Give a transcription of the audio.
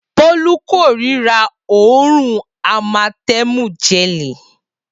Bolu kòrira òórùn amatemu gẹli.